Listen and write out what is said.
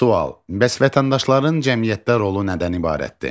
Sual: Bəs vətəndaşların cəmiyyətdə rolu nədən ibarətdir?